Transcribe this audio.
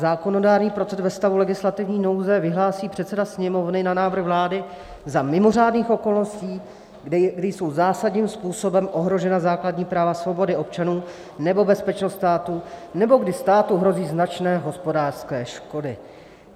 Zákonodárný proces ve stavu legislativní nouze vyhlásí předseda Sněmovny na návrh vlády za mimořádných okolností, kdy jsou zásadním způsobem ohrožena základní práva, svobody občanů nebo bezpečnost státu nebo kdy státu hrozí značné hospodářské škody.